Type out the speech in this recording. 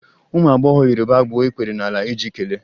Ụmụ agbọghọ Yoruba gbuo ikpere n'ala iji kelee